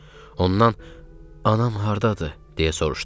Ondan anam hardadır, deyə soruşdum.